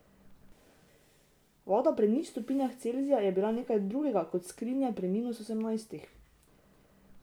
Voda pri nič stopinjah Celzija je bila nekaj drugega kot skrinja pri minus osemnajstih.